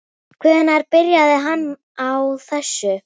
Hvenær byrjaði hann á þessu?